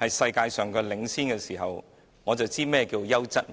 領先世界時，我便知道何謂"優質